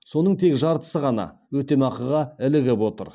соның тек жартысы ғана өтемақыға ілігіп отыр